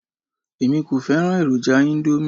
Èmi kò fẹ́ràn èròjà íńdómì.